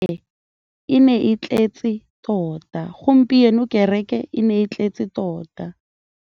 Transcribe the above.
Gompieno kêrêkê e ne e tletse tota.